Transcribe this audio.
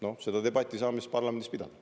No seda debatti saame siis parlamendis pidada.